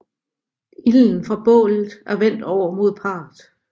Ilden fra bålet er vendt over mod parret